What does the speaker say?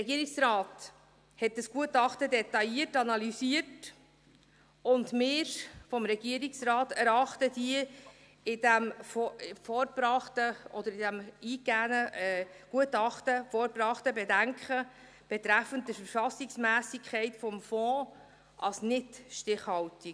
Der Regierungsrat analysierte dieses Gutachten detailliert, und seitens des Regierungsrats erachten wir die in diesem eingegangenen Gutachten vorgebrachten Bedenken betreffend die Verfassungsmässigkeit des Fonds als nicht stichhaltig.